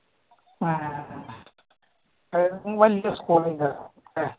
ആ വല്യ school അല്ലേ